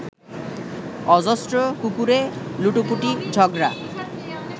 অজস্র কুকুরে লুটোপুটি ঝগড়া